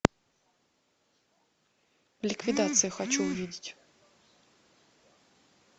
ликвидация хочу увидеть